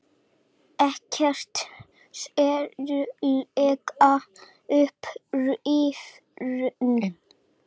Ekkert sérlega upprifinn.